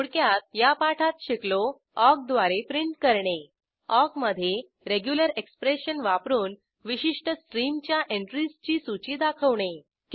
थोडक्यात या पाठात शिकलो ऑक द्वारे प्रिंट करणे ऑक मधे रेग्युलर एक्सप्रेशन वापरून विशिष्ट स्ट्रीमच्या एंट्रीजची सूची दाखवणे